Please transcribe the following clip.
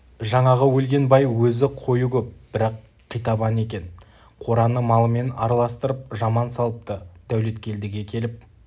жаңағы өлген бай өзі қойы көп бірақ қитабан екен қораны малымен араластырып жаман салыпты дәулеткелдіге келіп